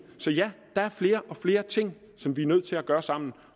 så ja der er flere og flere ting som vi er nødt til at gøre sammen